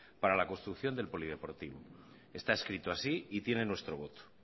para la construcción del polideportivo está escrito así y tiene nuestro voto